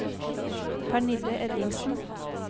Pernille Ellingsen